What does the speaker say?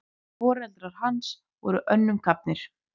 Foreldrar hans voru önnum kafnir.